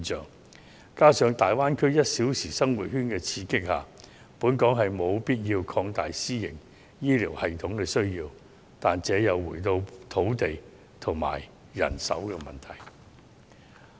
再者，在大灣區 "1 小時生活圈"的刺激下，香港是有必要擴大私營醫療系統的需要，但這又回到土地及人手的問題。